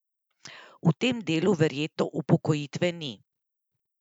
V tem delu verjetno upokojitve ni?